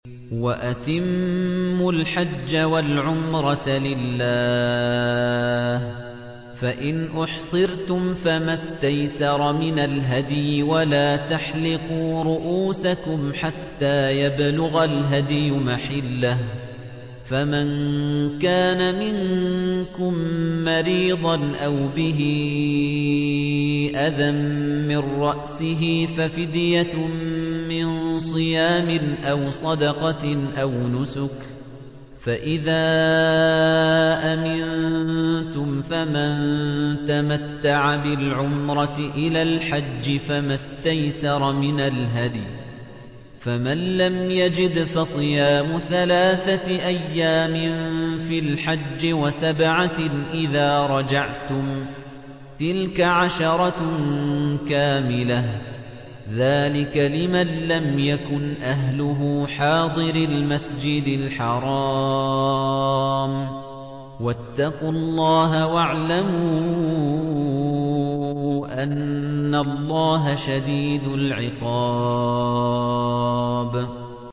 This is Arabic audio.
وَأَتِمُّوا الْحَجَّ وَالْعُمْرَةَ لِلَّهِ ۚ فَإِنْ أُحْصِرْتُمْ فَمَا اسْتَيْسَرَ مِنَ الْهَدْيِ ۖ وَلَا تَحْلِقُوا رُءُوسَكُمْ حَتَّىٰ يَبْلُغَ الْهَدْيُ مَحِلَّهُ ۚ فَمَن كَانَ مِنكُم مَّرِيضًا أَوْ بِهِ أَذًى مِّن رَّأْسِهِ فَفِدْيَةٌ مِّن صِيَامٍ أَوْ صَدَقَةٍ أَوْ نُسُكٍ ۚ فَإِذَا أَمِنتُمْ فَمَن تَمَتَّعَ بِالْعُمْرَةِ إِلَى الْحَجِّ فَمَا اسْتَيْسَرَ مِنَ الْهَدْيِ ۚ فَمَن لَّمْ يَجِدْ فَصِيَامُ ثَلَاثَةِ أَيَّامٍ فِي الْحَجِّ وَسَبْعَةٍ إِذَا رَجَعْتُمْ ۗ تِلْكَ عَشَرَةٌ كَامِلَةٌ ۗ ذَٰلِكَ لِمَن لَّمْ يَكُنْ أَهْلُهُ حَاضِرِي الْمَسْجِدِ الْحَرَامِ ۚ وَاتَّقُوا اللَّهَ وَاعْلَمُوا أَنَّ اللَّهَ شَدِيدُ الْعِقَابِ